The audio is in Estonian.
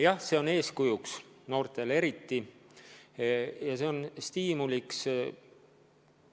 Jah, see on eeskujuks, noortele eriti, see on stiimuliks.